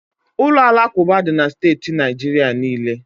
Ụlọ alakụba dị na steeti Naijiria niile.